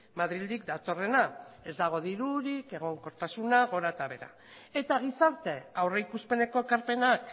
madrildik datorrena ez dago dirurik egonkortasuna gora eta behera eta gizarte aurrikuspeneko ekarpenak